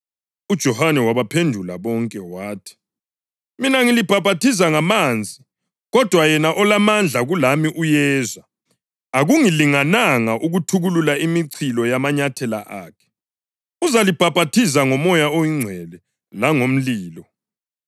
UJohane wabaphendula bonke wathi, “Mina ngilibhaphathiza ngamanzi. Kodwa yena olamandla kulami uyeza, akungilingananga ukuthukulula imichilo yamanyathela akhe. Uzalibhaphathiza ngoMoya oNgcwele langomlilo.